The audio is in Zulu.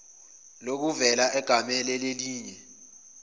lokuvela egamele lelinye